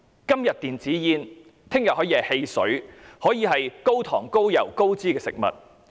今天禁止電子煙，明天可以禁止汽水和高糖、高油、高脂的食物。